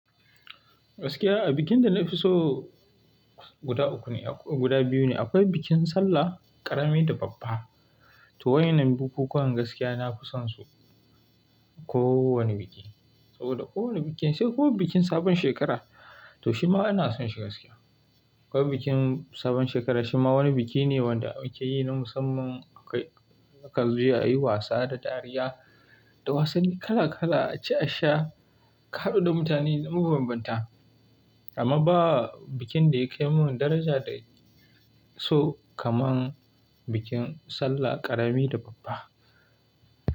Gaskiya abincin da na fi so guda biyu ne. Akwai bikin sallah ƙarama da babba. To waɗannan bukukuwan gaskiya na fi son su. Ko wane biki, saboda ko wane bikin sai kuma bikin sabon shekara, to shi ma ina son shi gaskiya. Akwai bikin sabon shekara shi ma wani biki ne wanda ake yi na musamman. Akan zo a yi wasa da dariya da wasanni kala kala, aci asha, ka haɗu da mutane bambanta. Amma ba bikin da ya kai min daraja dana keso kamar bikin sallah ƙarami da babba.